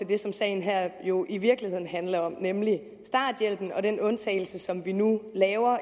det som sagen her jo i virkeligheden handler om nemlig starthjælpen og den undtagelse som vi nu laver